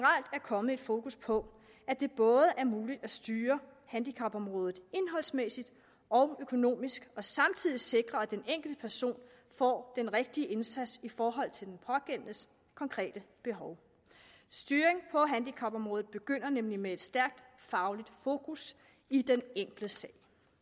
kommet et fokus på at det både er muligt at styre handicapområdet indholdsmæssigt og økonomisk og samtidig sikre at den enkelte person får den rigtige indsats i forhold til den pågældendes konkrete behov styring på handicapområdet begynder nemlig med et stærkt fagligt fokus i den enkelte sag